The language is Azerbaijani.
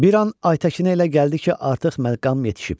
Bir an Aytəkinə elə gəldi ki, artıq məqam yetişib.